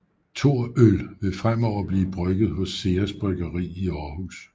Thor øl ville fremover blive brygget hos Ceres bryggeri i Aarhus